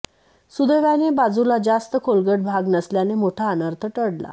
सुदैवाने बाजूला जास्त खोलगट भाग नसल्याने मोठा अनर्थ टळला